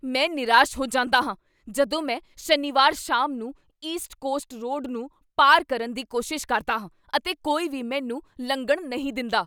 ਮੈਂ ਨਿਰਾਸ਼ ਹੋ ਜਾਂਦਾ ਹਾਂ ਜਦੋਂ ਮੈਂ ਸ਼ਨੀਵਾਰ ਸ਼ਾਮ ਨੂੰ ਈਸਟ ਕੋਸਟ ਰੋਡ ਨੂੰ ਪਾਰ ਕਰਨ ਦੀ ਕੋਸ਼ਿਸ਼ ਕਰਦਾ ਹਾਂ ਅਤੇ ਕੋਈ ਵੀ ਮੈਨੂੰ ਲੰਘਣ ਨਹੀਂ ਦਿੰਦਾ।